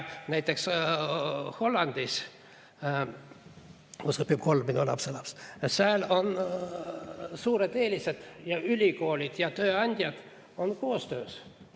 Näiteks Hollandis, kus õpib kolm minu lapselast, on suured eelised, ja ülikoolid ja tööandjad teevad koostööd.